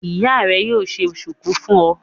Ìyá rẹ yóò ṣe ṣùkú fún ọ.